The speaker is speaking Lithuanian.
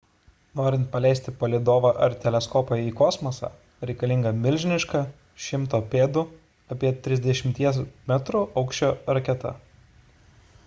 norint paleisti palydovą ar teleskopą į kosmosą reikalinga milžiniška 100 pėdų apie 30 metrų aukščio raketa